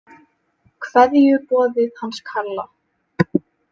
Kveðjuboðið hans Kalla.